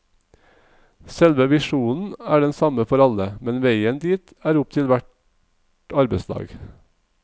Selve visjonen er den samme for alle, men veien dit er opp til hvert arbeidslag.